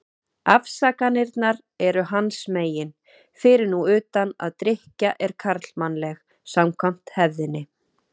Afsakanirnar eru hans megin, fyrir nú utan að drykkja er karlmannleg, samkvæmt hefðinni.